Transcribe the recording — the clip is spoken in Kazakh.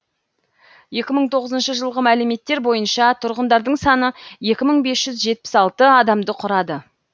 екі мың тоғызыншы жылғы мәліметтер бойынша тұрғындарының саны екі мың бес жүз жетпіс алты адамды құрады